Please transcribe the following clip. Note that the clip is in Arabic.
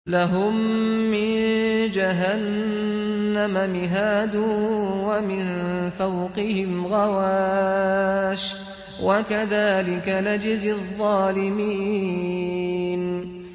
لَهُم مِّن جَهَنَّمَ مِهَادٌ وَمِن فَوْقِهِمْ غَوَاشٍ ۚ وَكَذَٰلِكَ نَجْزِي الظَّالِمِينَ